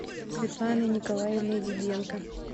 светланой николаевной диденко